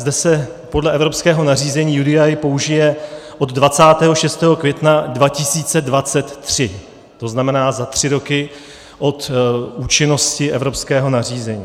Zde se podle evropského nařízení UDI použije od 26. května 2023, to znamená za tři roky od účinnosti evropského nařízení.